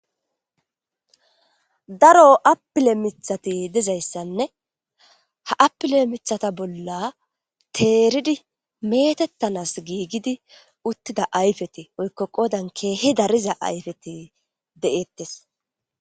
Daro apile mithati dizayssanne ha apile mithata bolla teeridi meetettanas giigidi uttida ayfeti oykko qodan keehi dariza ayfeti de'eettes.